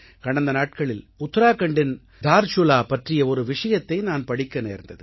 கடந்த நாட்களில் உத்தராக்கண்டின் தார்சுலா பற்றிய ஒரு விஷயத்தை நான் படிக்க நேர்ந்தது